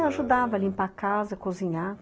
Eu ajudava a limpar a casa, a cozinhar.